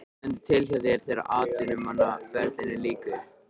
Hvað stendur til hjá þér þegar atvinnumannaferlinum lýkur?